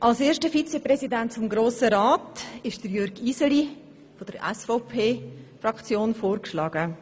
Als erster Vizepräsident des Grossen Rats ist Jürg Iseli von der SVPFraktion vorgeschlagen.